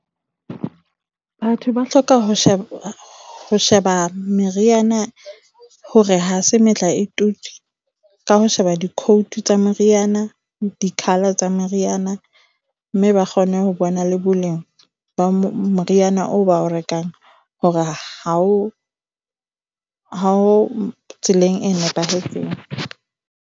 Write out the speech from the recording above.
Batho ba hloka ho sheba ho sheba meriana hore ha se metlaetutswe, ka ho sheba di-code tsa meriana, di-color tsa meriana. Mme ba kgone ho bona le boleng ba moriana oo ba o rekang hore ha o mo tseleng e nepahetseng.